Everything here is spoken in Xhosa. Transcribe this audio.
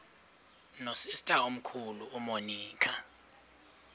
nosister omkhulu umonica